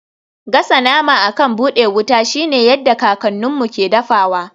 Gasa nama akan buɗe wuta shine yadda kakanninmu ke dafawa.